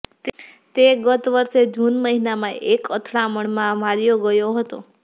તે ગત વર્ષે જૂન મહિનામાં એક અથડામણમાં માર્યો ગયો હતો